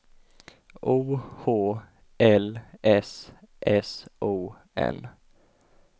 O H L S S O N